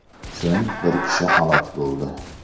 So‘ng bir kishi halok bo‘ldi .